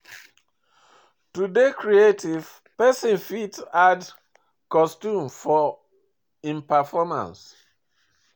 to dey creative person fit add costume for im performace